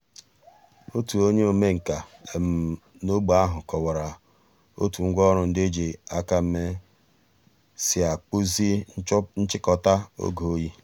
ọ̀tù ònyè òmènkà n’ógbè àhụ̀ kọ̀wárà ó̩tù ngwá òrụ̀ ńdí è jì àkà mée sì àkpụ̀zì nchị̀kò̩tà ògè òyì.